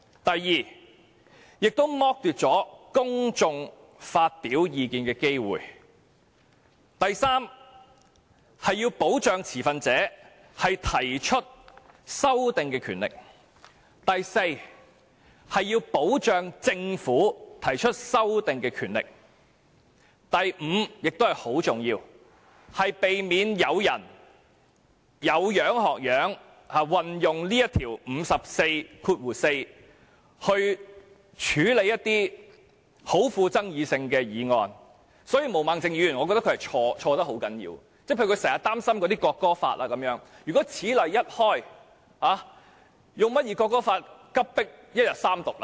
第二，剝奪了公眾發表意見的機會；第三，要保障持份者提出修訂的權力；第四，要保障政府提出修訂的權力；第五，是十分重要的，要避免有人依樣畫葫蘆，引用《議事規則》第544條處理一些十分富爭議性的議案，所以，我認為毛孟靜議員的論點是十分錯誤的，例如她經常擔心《國歌法》等，如果此例一開，《國歌法》會否急迫至一天內完成三讀呢？